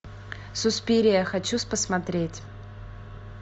суспирия хочу посмотреть